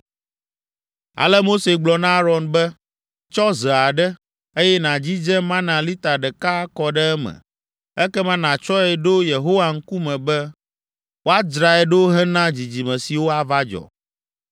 Ale Mose gblɔ na Aron be, “Tsɔ ze aɖe, eye nàdzidze mana lita ɖeka akɔ ɖe eme. Ekema, nàtsɔe ɖo Yehowa ŋkume be woadzrae ɖo hena dzidzime siwo ava dzɔ.”